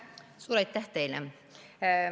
Suur aitäh teile!